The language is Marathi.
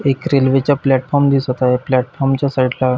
एक रेल्वेचा फॅल्ट फाॅम दिसत आहे प्लाटफाॅम च्या साइट ला --